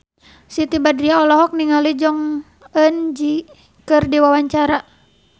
Siti Badriah olohok ningali Jong Eun Ji keur diwawancara